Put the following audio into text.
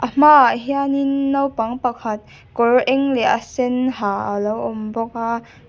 hmaah hianin naupang pakhat kawr eng leh a sen ha a lo awm bawk a.